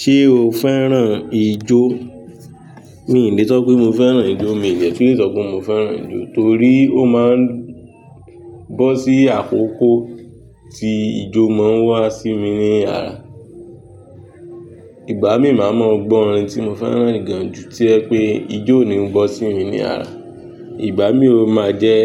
Ṣé o fẹ́ràn ijó? Mí i lè sọ pé mo fẹ́ràn ijó, mi i dè tun lẹ sọ pé mo fẹ́ràn ijó torí ó máa ń bọ́ sí àkókó tí ijó máa ń wá sí mi ní àrá. Ìgbà mí máa mọ gbọ́ orin tí mo fẹ́ràn gan jú tí ẹ pé ijó oni bọ́ sí mi ní àrá. Ìgbà mí ó máa jẹ́,